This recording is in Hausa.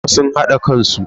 Kabilun uku sun hada kansu.